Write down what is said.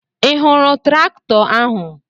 Ị hụrụ traktọ ahụ?